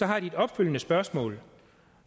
har de et opfølgende spørgsmål